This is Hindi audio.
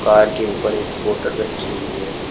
कार के ऊपर एक बोतल रखी हुई है।